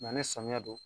ni samiya don